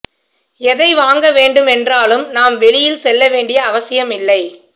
எதை வாங்க வேண்டும் என்றாலும் நாம் வெளியில் செல்ல வேண்டிய அவசியம் இல்லை